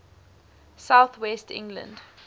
south west england